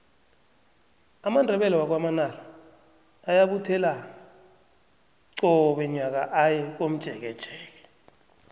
amandebele wakwa manala ayabuthelana qobe nyaka aye komjekejeke